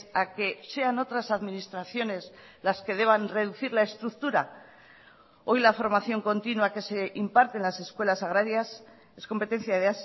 a que sean otras administraciones las que deban reducir la estructura hoy la formación continúa que se imparte en las escuelas agrarias es competencia de